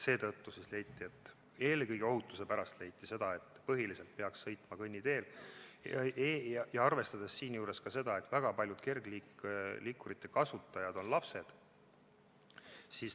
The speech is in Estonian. Seetõttu leiti, eelkõige ohutuse pärast, et põhiliselt peaks sõitma kõnniteel, arvestades ka seda, et väga paljud kergliikurite kasutajad on lapsed.